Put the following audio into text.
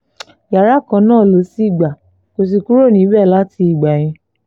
yàrá kan náà ló sì gbà kó sì kúrò níbẹ̀ láti ìgbà yẹn